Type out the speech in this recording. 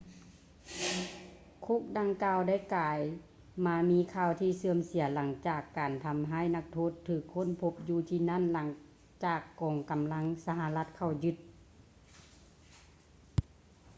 ຄຸກດັ່ງກ່າວ ໄດ້ກາຍມາມີຂ່າວທີ່ເສື່ອມເສຍ ຫຼັງຈາກການທຳຮ້າຍນັກໂທດຖືກຄົ້ນພົບຢູ່ທີ່ນັ້ນ ຫຼັງຈາກກອງກຳລັງສະຫະລັດເຂົ້າຍຶດ